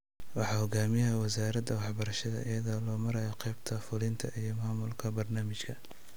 Waxaa hogaaminaya Wasaaradda Waxbarashada iyadoo loo marayo qeybta fulinta iyo maamulka barnaamijka.